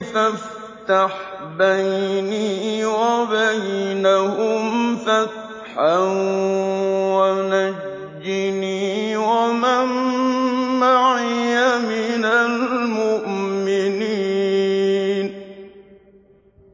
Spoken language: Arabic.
فَافْتَحْ بَيْنِي وَبَيْنَهُمْ فَتْحًا وَنَجِّنِي وَمَن مَّعِيَ مِنَ الْمُؤْمِنِينَ